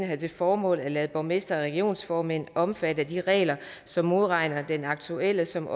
have til formål at lade borgmestre og regionsformænd omfatte af de regler som modregner aktuelt og som